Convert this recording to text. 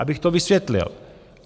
Abych to vysvětlil.